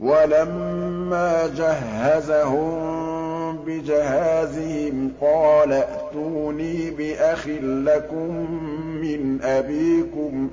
وَلَمَّا جَهَّزَهُم بِجَهَازِهِمْ قَالَ ائْتُونِي بِأَخٍ لَّكُم مِّنْ أَبِيكُمْ ۚ